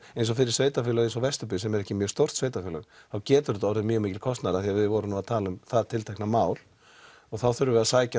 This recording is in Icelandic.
eins og fyrir sveitafélög eins og Vesturbyggð sem er ekki mjög stórt sveitafélag þá getur þetta orðið mjög mikill kostnaður af því við vorum nú að tala um það tiltekna mál og þá þurfum við að sækja